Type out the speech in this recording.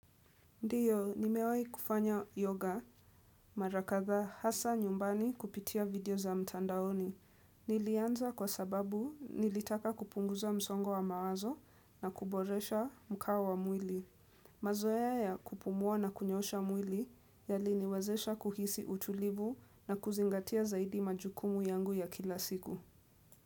Ndiyo, nimewai kufanya yoga mara kadhaa hasa nyumbani kupitia video za mtandaoni. Nilianza kwa sababu nilitaka kupunguza msongo wa mawazo na kuboresha mkao wa mwili. Mazoea ya kupumuwa na kunyosha mwili yaliniwezesha kuhisi utulivu na kuzingatia zaidi majukumu yangu ya kila siku.